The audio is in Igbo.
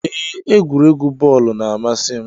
Ee, egwuregwu bọọlu na-amasi m